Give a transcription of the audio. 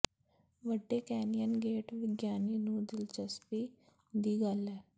ਵੱਡੇ canyon gate ਵਿਗਿਆਨੀ ਨੂੰ ਦਿਲਚਸਪੀ ਦੀ ਗੱਲ ਹੈ